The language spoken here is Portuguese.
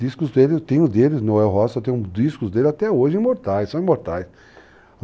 Discos dele, eu tenho deles, Noel Rosa, eu tenho discos dele até hoje imortais, são imortais.